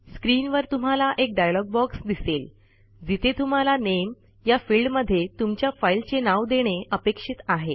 स्क्रीनवर तुम्हाला एक डायलॉग बॉक्स दिसेल जिथे तुम्हाला नामे या फिल्डमध्ये तुमच्या फाईलचे नाव देणे अपेक्षित आहे